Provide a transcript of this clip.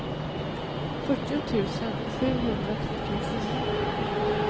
fyrtio tusen sjuhundratrettiofyra